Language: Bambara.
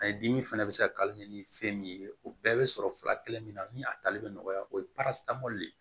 A ye dimi fana bɛ se ka kari ni fɛn min ye o bɛɛ bɛ sɔrɔ fila kelen min na ni a tali bɛ nɔgɔya o ye le